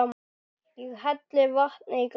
Ég helli vatni í glas.